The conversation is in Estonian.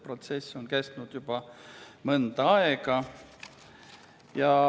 Protsess on kestnud juba mõnda aega.